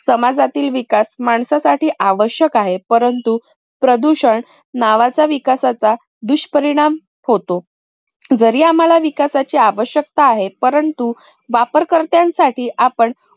समाजातील विकास माणसासाठी आवश्यक आहे परंतु प्रदूषण नावाचा विकासाचा दुष्परिणाम होतो. जरी आम्हाला विकासाची आवश्यकता आहे परंतु वापरकर्त्यांसाठी आपण